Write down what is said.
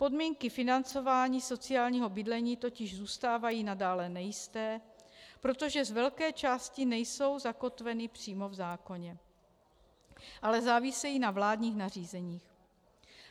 Podmínky financování sociálního bydlení totiž zůstávají nadále nejisté, protože z velké části nejsou zakotveny přímo v zákoně, ale závisejí na vládních nařízeních.